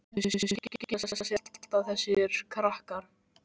En þau skila sér alltaf, þessir krakkar.